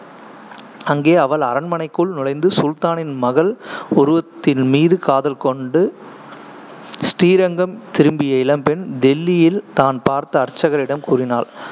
அங்கே அவள் அரண்மனைக்குள் நுழைந்து, சுல்தானின் மகள் உருவத்தின் மீது காதல் கொண்டு ஸ்ரீரங்கம் திரும்பிய இளம்பெண், தில்லியில் தான் பார்த்ததை அர்ச்சகர்களிடம் கூறினாள்.